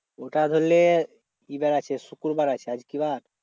ওটা ধরলে কি বার আছে? শুক্রবার আছে, আজ কি বার?